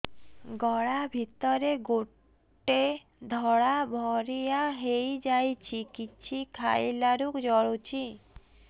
ଗଳା ଭିତରେ ଗୋଟେ ଧଳା ଭଳିଆ ହେଇ ଯାଇଛି କିଛି ଖାଇଲାରୁ ଜଳୁଛି